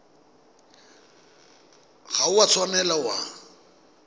ga o a tshwanela wa